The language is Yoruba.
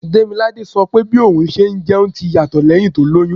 Demilade sọ pé bí òun ṣe ń jẹun ti yàtọ̀ lẹ́hìn tó lóyún.